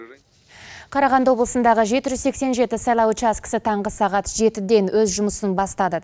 қарағанды облысындағы жеті жүз сексен жеті сайлау учаскісі таңғы сағат жетіден өз жұмысын бастады